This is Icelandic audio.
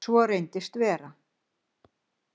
Svo reyndist vera.